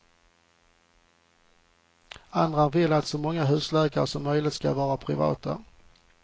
Andra vill att så många husläkare som möjligt ska vara privata.